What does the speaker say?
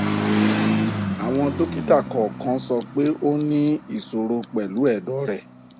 àwọn dọkítà kòòkan sọ pé ó ní ìsòro pẹlú ẹdọ rẹ